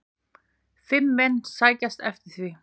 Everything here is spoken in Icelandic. Fimm menn sækjast eftir því.